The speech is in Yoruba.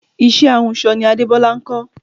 Iṣẹ́ ahunsọ ni Adebola kọ́